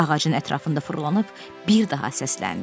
Ağacın ətrafında fırlanıb bir daha səsləndi.